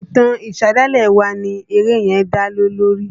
Ìtàn ìṣẹ̀dálẹ̀ wa ni eré yẹn dá lé lórí.